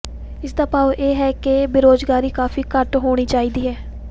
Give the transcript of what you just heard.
ਇਸਦਾ ਭਾਵ ਇਹ ਵੀ ਹੈ ਕਿ ਬੇਰੁਜ਼ਗਾਰੀ ਕਾਫੀ ਘੱਟ ਹੋਣੀ ਚਾਹੀਦੀ ਹੈ